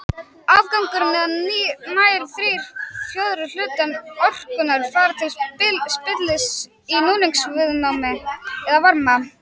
Afgangurinn eða nær þrír fjórðu hlutar orkunnar fara til spillis í núningsviðnámi eða varma.